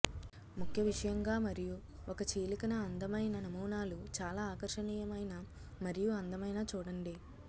ముఖ్య విషయంగా మరియు ఒక చీలిక న అందమైన నమూనాలు చాలా ఆకర్షణీయమైన మరియు అందమైన చూడండి